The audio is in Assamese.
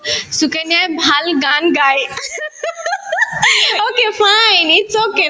সুকন্যাই ভাল গান গাই okay fine its okay